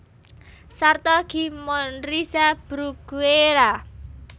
Sarta gimnorrhiza Bruguiera